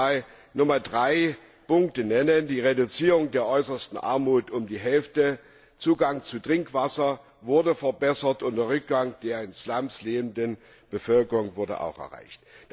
Ich möchte drei Punkte nennen Reduzierung der äußersten Armut um die Hälfte, der Zugang zu Trinkwasser wurde verbessert und der Rückgang der in Slums lebenden Bevölkerung wurde auch erreicht.